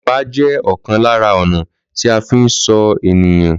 Lépa je òkan lára ọ̀nà tí a fi ń sọ ènìyàn